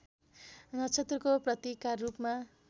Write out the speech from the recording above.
नक्षत्रको प्रतीकका रूपमा